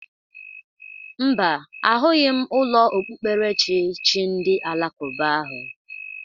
Mba, ahụghị m ụlọ okpukperechi chi ndị alakuba ahụ.